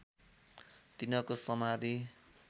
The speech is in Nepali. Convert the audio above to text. तिनको समाधि